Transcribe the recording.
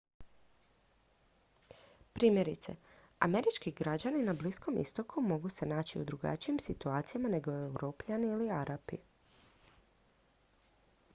primjerice američki građani na bliskom istoku mogu se naći u drugačijim situacijama nego europljani ili arapi